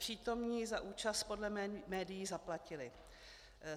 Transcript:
Přítomní za účast podle médií zaplatili.